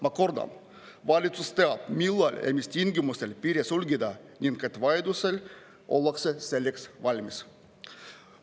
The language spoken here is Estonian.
Ma kordan: valitsus teab, millal ja mis tingimustel piiri sulgeda ning et vajadusel ollakse selleks valmis.